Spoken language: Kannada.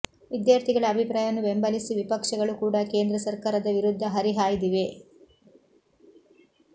ವಿದ್ಯಾರ್ಥಿಗಳ ಅಭಿಪ್ರಾಯವನ್ನು ಬೆಂಬಲಿಸಿ ವಿಪಕ್ಷಗಳು ಕೂಡ ಕೇಂದ್ರ ಸರ್ಕಾರದ ವಿರುದ್ಧ ಹರಿಹಾಯ್ದಿವೆ